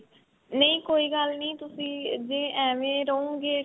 ਨਹੀਂ ਕੋਈ ਗੱਲ ਨੀ ਤੁਸੀਂ ਜੇ ਐਵੇ ਰਹੋਗੇ.